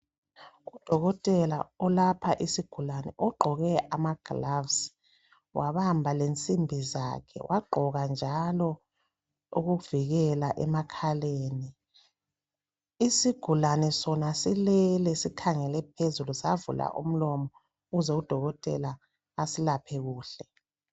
Udokotela olapha isigulane ugqoke amagloves wabamba lensimbizakhe wagqoka njalo okuvikela emakhaleni isigulane sona silele sikhangele phezulu savula umlomo ukuze udokotela aselaphe kuhle